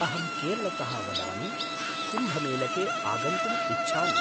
अहं केरलतः वदामि, कुम्भमेलके आगन्तुम् इच्छामि।